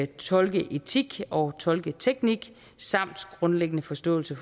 tolkeetik og tolketeknik samt grundlæggende forståelse